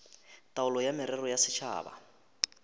taolo ya merero ya setšhaba